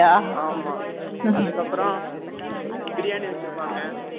ஆமா, அதுக்கப்புறம், பிரியாணி வச்சிருப்பாங்க